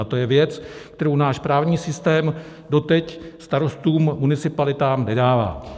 A to je věc, kterou náš právní systém doteď starostům, municipalitám nedává.